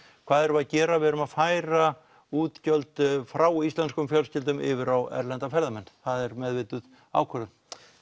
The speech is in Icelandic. hvað erum við að gera við erum að færa útgjöld frá íslenskum fjölskyldum yfir á erlenda ferðamenn það er meðvituð ákvörðun